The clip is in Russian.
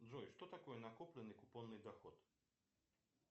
джой что такое накопленный купонный доход